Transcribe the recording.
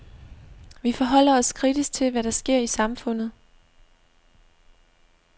Vi forholder os kritisk til, hvad der sker i samfundet.